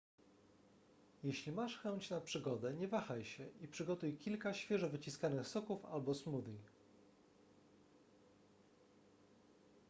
jeśli masz chęć na przygodę nie wahaj się i przygotuj kilka świeżo wyciskanych soków albo smoothie